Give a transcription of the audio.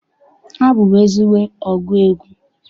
Abụ m ezigbo ọgụ egwu.